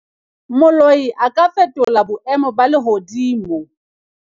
moloi a ka fetola boemo ba lehodimo